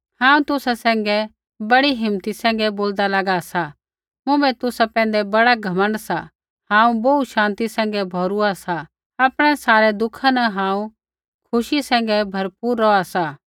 हांऊँ तुसा सैंघै बड़ी हिम्मती सैंघै बोलदा लागा सा मुँभै तुसा पैंधै बड़ा घमण्ड सा हांऊँ बोहू शान्ति सैंघै भोरुआ सा आपणै सारै दुःखा न हांऊँ खुशी सैंघै भरपुर रौहा सा